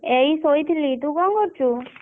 ଏଇ ଶୋଇଥିଲି ତୁ କଣ କରୁଛୁ?